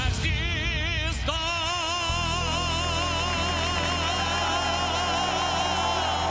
Əziz dost!